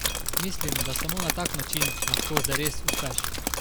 Mislim, da samo na tak način lahko zares uspeš.